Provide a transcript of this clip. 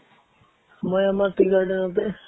মই আমাৰ tea garden তে